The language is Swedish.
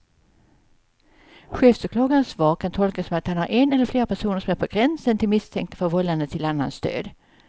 Chefsåklagarens svar kan tolkas som att han har en eller flera personer som är på gränsen till misstänkta för vållande till annans död.